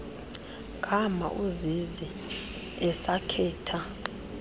gama uzizi esakhetha